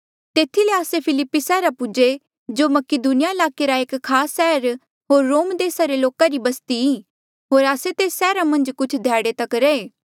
तेथी ले आस्से फिलिप्पी सैहरा पूजे जो मकीदुनिया ईलाके रा एक खास सैहर होर रोम देसा रे लोका री बस्ती ई होर आस्से तेस सैहरा मन्झ कुछ होर ध्याड़े तक रैहे